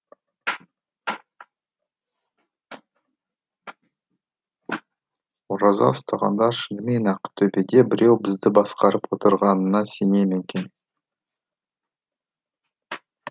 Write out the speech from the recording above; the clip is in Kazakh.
ораза ұстағандар шынымен ақ төбеде біреу бізді басқарып отырғанына сене ме екен